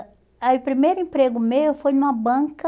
Aí o primeiro emprego meu foi numa banca,